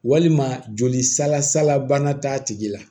Walima joli sala sala bana t'a tigi la